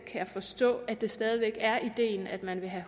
jeg forstå at det stadig væk er ideen at man vil have